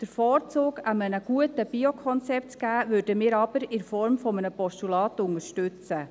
Den Vorzug einem guten Biokonzept zu geben, würden wir aber in Form eines Postulats unterstützen.